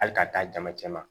Hali ka d'a jama cɛ ma